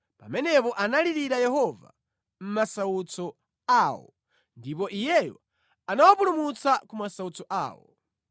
Pamenepo analirira Yehova mʼmasautso awo ndipo Iyeyo anawapulumutsa ku masautso awo.